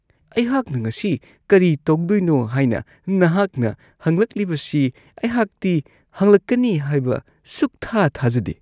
ꯑꯩꯍꯥꯛꯅ ꯉꯁꯤ ꯀꯔꯤ ꯇꯧꯗꯣꯏꯅꯣ ꯍꯥꯏꯕ ꯅꯍꯥꯛꯅ ꯍꯪꯂꯛꯂꯤꯕꯁꯤ ꯑꯩꯍꯥꯛꯇꯤ ꯍꯪꯂꯛꯀꯅꯤ ꯍꯥꯏꯅ ꯁꯨꯛꯊꯥ-ꯊꯥꯖꯗꯦ ꯫